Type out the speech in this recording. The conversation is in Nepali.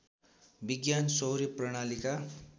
विज्ञान सौर्य प्रणालीका